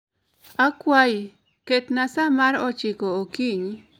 Akwayi, ketna sa mar ochiko okinyi